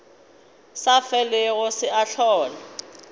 sa felego se a hlola